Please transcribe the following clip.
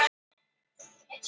Hvað viljið þið?